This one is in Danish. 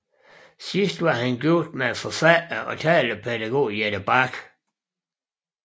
Sidst var han gift med forfatter og talepædagog Jette Bak